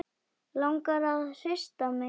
Langar að hrista mig til.